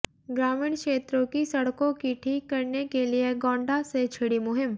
ग्रामीण क्षेत्रों की सड़कों की ठीक करने के लिए गोण्डा से छिड़ी मुहिम